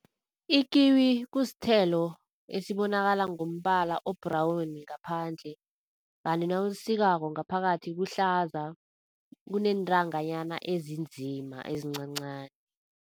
Ikiwi kusthelo esibonakala ngombala o-brown ngaphandle, kanti nawulisikako ngaphakathi kuhlaza, kuneentanganyana ezinzima ezincancani.